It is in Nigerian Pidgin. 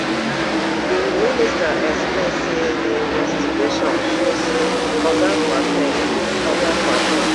di minister explain say di investigation show say oga kwar ten g oga kwar ten g